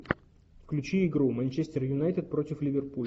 включи игру манчестер юнайтед против ливерпуль